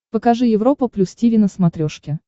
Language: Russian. покажи европа плюс тиви на смотрешке